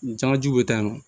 Jamajɛw bɛ taa yen nɔ